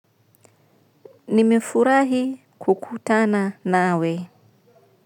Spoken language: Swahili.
Nimefurahi kukutana nawe.